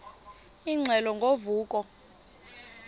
ingxelo ngo vuko